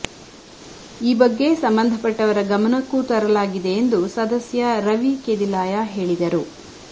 ಈ ಬಗ್ಗೆ ಸಂಬಂಧಪಟ್ಟವರ ಗಮನಕ್ಕೂ ತರಲಾಗಿದೆ ಎಂದು ಸದಸ್ಯ ರವಿಕೆದಿಲಾಯ ಹೇಳಿದರು